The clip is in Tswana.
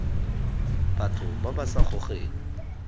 batho ba ba sa gogeng